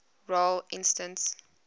role instance